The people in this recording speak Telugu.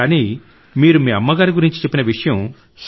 కానీ మీరు మీ అమ్మ గురించి చెప్పిన విషయం